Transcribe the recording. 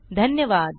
धन्यवाद